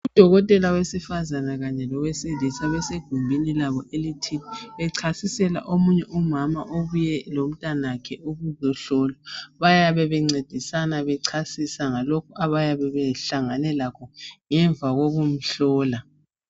Udokotela wesifazana kanye lowesilisa besigumbini labo elithi becasisela omunye umama obuye lomntanakhe ukuzohlolwa bayabe bencedisana becasisa ngalokhu abayabebehlangane lakho ngemva kwokumhlola.